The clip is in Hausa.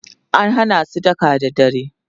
an Hana su daka da dare